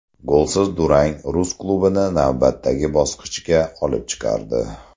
Golsiz durang rus klubini navbatdagi bosqichga olib chiqardi.